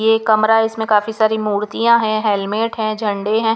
ये कमरा है इसमें काफी सारी मूर्तियां है हेलमेट है झंडे हैं.